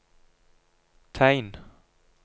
tegn